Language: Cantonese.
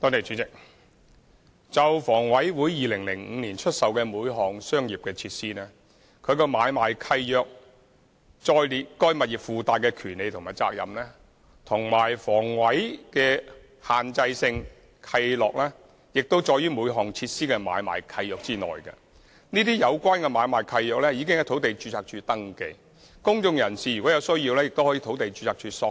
主席，就房委會在2005年出售每項商業設施時，均在相關的買賣契約，載列了該物業的附帶權利和責任，而房委會的限制性契諾亦載於每項設施的買賣契約中，相關買賣契約已在土地註冊處登記，公眾人士如有需要，亦可向土地註冊處索取。